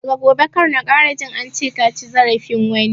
Daga gobe kar na ƙara jin ance kaci zarafin wani!